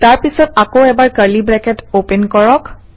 তাৰ পিছত আকৌ এবাৰ কাৰ্লি ব্ৰেকেট অপেন কৰক